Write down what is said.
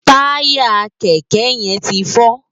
Tàyá kèkè yèn ti jó